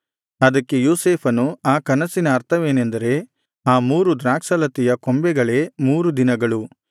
ಅದಕ್ಕೆ ಯೋಸೇಫನು ಆ ಕನಸಿನ ಅರ್ಥವೇನೆಂದರೆ ಆ ಮೂರು ದ್ರಾಕ್ಷಾಲತೆಯ ಕೊಂಬೆಗಳೇ ಮೂರು ದಿನಗಳು